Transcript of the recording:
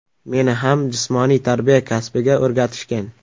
Meni ham jismoniy tarbiya kasbiga o‘rgatishgan.